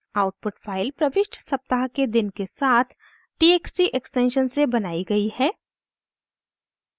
output file प्रविष्ट सप्ताह के दिन के साथ txt एक्सटेंशन से बनाई गयी है